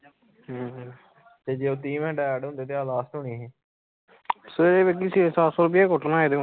ਜੇ ਉਹ ਤੀਹ ਮਿੰਟ add ਹੁੰਦੇ ਤਾ ਇਹ last ਹੋਣੀ ਹੀ ਸਵੇਰੇ ਵੇਖੀ ਛੇ ਸੱਤ ਸੌ ਰੁਪਈਆ ਕੁੱਟਣਾ ਏਦੇ ਕੋ